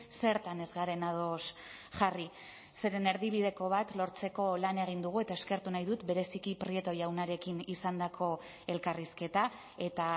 zertan ez garen ados jarri zeren erdibideko bat lortzeko lan egin dugu eta eskertu nahi dut bereziki prieto jaunarekin izandako elkarrizketa eta